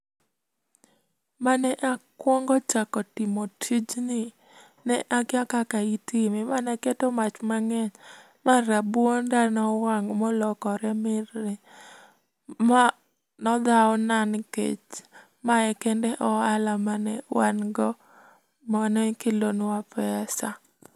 Mane akuongo chako timo tijni, ne akia kaka itime mane aketo mach mang'eny ma rabuonda nowang' molokore mirni. Ma ne odhawna nikech ma kende e ohala mane wan go mane kelonwa pesa.